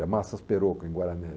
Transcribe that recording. É Massas Perocco em Guaranesia.